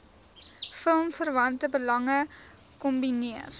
filmverwante belange kombineer